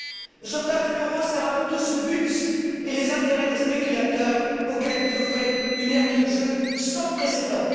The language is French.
Le sauvetage de l'euro sert avant tout ce but et les intérêts des spéculateurs, auxquels vous offrez une aire de jeux sans précédent.